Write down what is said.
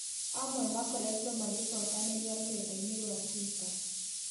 Amwe makoretwo makĩcokanĩrĩa rurenda ĩnĩ rwa twitter